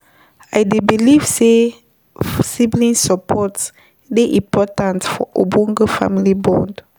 I dey believe say sibling support dey important for ogbonge family bond.